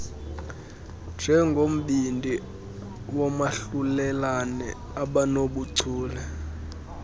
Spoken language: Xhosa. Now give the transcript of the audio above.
njengombindi woomahlulelane abanobuchule